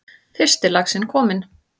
Fyrsti laxinn kominn